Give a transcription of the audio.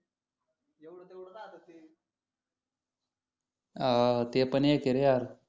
हा ते पण एक आहे रे यार